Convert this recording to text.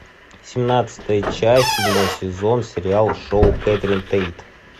семнадцатая часть седьмой сезон сериал шоу кэтрин тейт